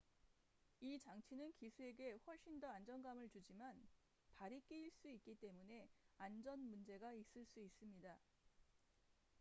이 장치는 기수에게 훨씬 더 안정감을 주지만 발이 끼일 수 있기 때문에 안전 문제가 있을 수 있습니다